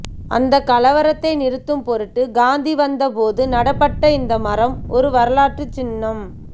அந்தக் கலவரத்தை நிறுத்தும்பொருட்டு காந்தி வந்தபோது நடப்பட்ட இந்த மரம் ஒரு வரலாற்றுச்சின்னம்